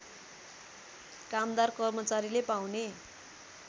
कामदार कर्मचारीले पाउने